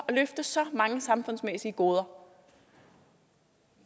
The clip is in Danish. løfte så mange samfundsmæssige goder